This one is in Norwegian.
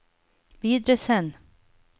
videresend